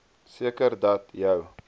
seker dat jou